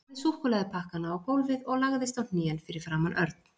Hann lagði súkkulaðipakkana á gólfið og lagðist á hnén fyrir framan Örn.